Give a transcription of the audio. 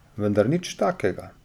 Vendar nič takega.